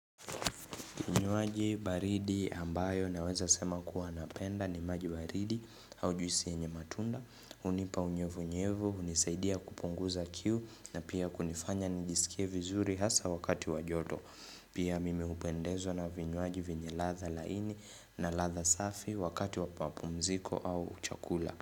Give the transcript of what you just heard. Kinywaji baridi ambayo naweza sema kuwa napenda ni maji baridi au juisi yenye matunda, hunipa unyevu unyevu, hunisaidia kupunguza kiu na pia kunifanya nijisikie vizuri hasa wakati wa joto. Pia mimi hupendezwa na vinywaji vyenye ladhaa laini na ladhaa safi wakati wa mapumziko au chakula.